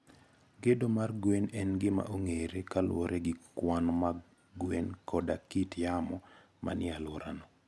Gedo mar gwen en gima ong'ere kaluwore gi kwan mag gwen koda kit yamo manie alworano.